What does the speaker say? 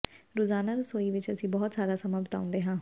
ਰੋਜ਼ਾਨਾ ਰਸੋਈ ਵਿੱਚ ਅਸੀਂ ਬਹੁਤ ਸਾਰਾ ਸਮਾਂ ਬਿਤਾਉਂਦੇ ਹਾਂ